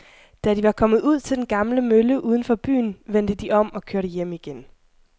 Da de var kommet ud til den gamle mølle uden for byen, vendte de om og kørte hjem igen.